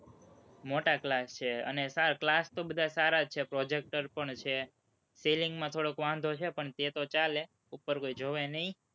મોટા class છે અને class તો બધા સારા છે, projector પણ છે ceiling માં થોડોક વાંધો છે, પણ તે તો ચાલે, ઉપર કોઈ જોવે નહીં.